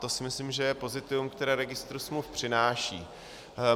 To si myslím, že je pozitivum, které registr smluv přináší.